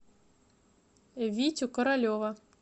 витю королева